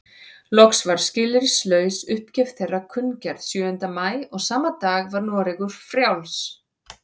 Loks var skilyrðislaus uppgjöf þeirra kunngerð sjöunda maí og sama dag var Noregur frjáls.